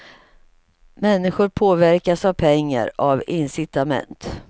Människor påverkas av pengar, av incitament.